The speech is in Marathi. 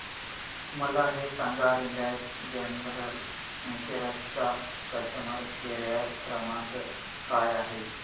मला हे सांग रिलायन्स जनरल इन्शुरंस चा कस्टमर केअर क्रमांक काय आहे